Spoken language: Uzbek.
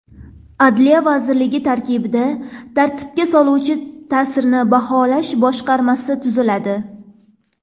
Adliya vazirligi tarkibida tartibga soluvchi ta’sirni baholash boshqarmasi tuziladi.